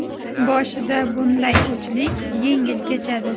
Boshida bunday o‘chlik yengil kechadi.